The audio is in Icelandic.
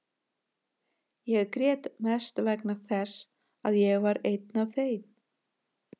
Ég grét mest vegna þess að ég var einn af þeim.